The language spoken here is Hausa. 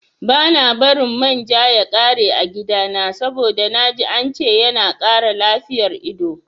Bana bari man ja ya ƙare a gidana saboda naji ance yana kara lafiyar ido